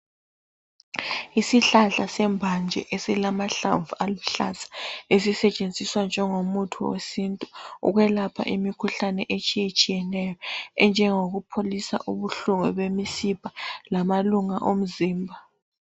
Isihlahla sembanje esilamahlamvu aluhlaza esisetshenziswa njengomuthi wesintu ukwelapha imikhuhlane etshiyetshiyeneyo enjengokupholisa ubuhlungu bemisipha lamalunga omzimba.